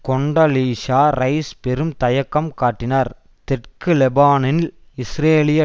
Condoleezza Rice பெரும் தயக்கம் காட்டினார் தெற்கு லெபனானில் இஸ்ரேலிய